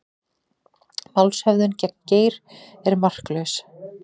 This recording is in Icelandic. Málshöfðun gegn Geir sé marklaus